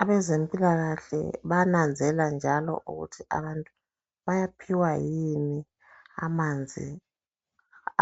Abezempilakahle bayananzelela njalo ukuthi abantu bayaphiwa yini amanzi